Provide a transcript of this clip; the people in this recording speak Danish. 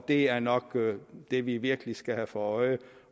det er nok det vi virkelig skal have for øje